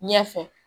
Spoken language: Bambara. Ɲɛ fɛ